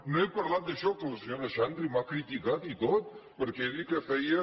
no he parlat d’això que la senyora xandri m’ha criticat i tot perquè ha dit que feia